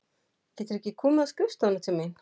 Geturðu ekki komið á skrifstofuna til mín?